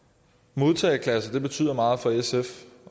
modtageklasser betyder meget for sf